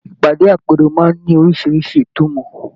Ìpàdé àpérò máa n ní orisirisi ìtùmọ̀.